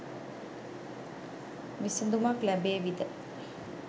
විසදුමක් ලැබේවිද?